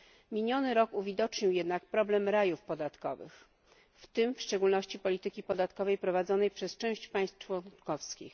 Miniony rok uwidocznił jednak problem rajów podatkowych, w tym w szczególności polityki finansowej prowadzonej przez część państw członkowskich.